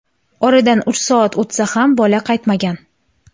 Oradan uch soat o‘tsa ham, bola qaytmagan.